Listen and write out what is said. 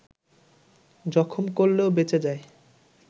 জখম করলেও বেঁচে যায়